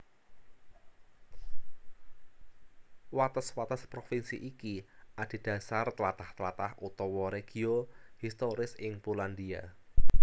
Wates wates provinsi iki adhedhasar tlatah tlatah utawa regio historis ing Polandia